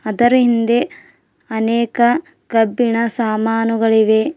ಅದರ ಹಿಂದೆ ಅನೇಕ ಕಬ್ಬಿಣ ಸಾಮಾನುಗಳಿವೆ.